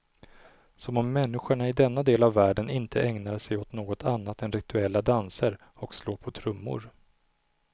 Som om människorna i denna del av världen inte ägnar sig åt något annat än rituella danser och slå på trummor.